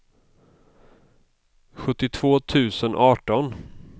sjuttiotvå tusen arton